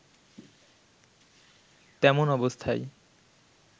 তেমন অবস্থায়